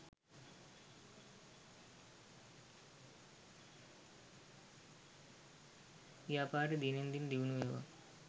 ව්‍යාපාරය දිනෙන් දින දියුණුවේවා